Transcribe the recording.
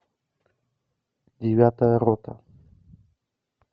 девятая рота